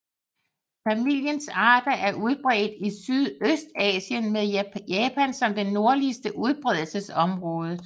Familiens arter er udbredt i Sydøstasien med Japan som det nordligste udbredelsesområde